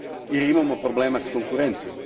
jer imamo problema s konkurencijom.